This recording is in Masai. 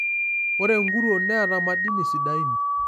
Ore nkuruon neeata madini sidain.